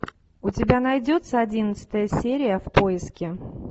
у тебя найдется одиннадцатая серия в поиске